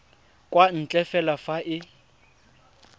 kwa ntle fela fa e